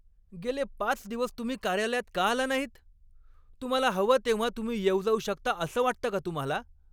गेले पाच दिवस तुम्ही कार्यालयात का आला नाहीत? तुम्हाला हवं तेव्हा तुम्ही येऊ जाऊ शकता असं वाटतं का तुम्हाला?